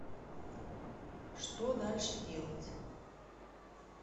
что дальше делать